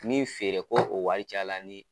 Min feere ko o wari cayala ni.